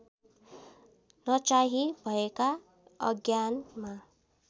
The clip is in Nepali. नचाही भएका अज्ञानमा